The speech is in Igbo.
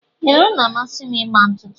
Ee, ọ na amasi m ịgba ntụtụ.